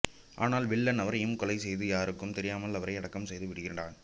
ஆனால் வில்லன் அவரையும் கொலை செய்து யாருக்கும் தெரியாமல் அவரை அடக்கம் செய்து விடுகிறான்